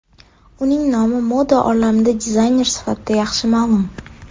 Uning nomi moda olamida dizayner sifatida yaxshi ma’lum.